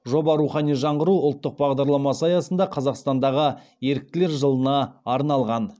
жоба рухани жаңғыру ұлттық бағдарламасы аясында қазақстандағы еріктілер жылына арналған